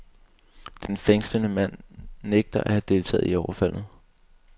Den fængslede mand nægter at have deltaget i overfaldet.